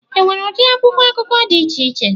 Enwere ụdị akwụkwọ akụkọ dị iche iche